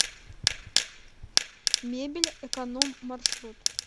мебель эконом маршрут